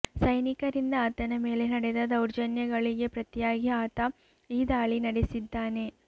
ಸೈನಿಕರಿಂದ ಆತನ ಮೇಲೆ ನಡೆದ ದೌರ್ಜನ್ಯಗಳಿಗೆ ಪ್ರತಿಯಾಗಿ ಆತ ಈ ದಾಳಿ ನಡೆಸಿದ್ದಾನೆ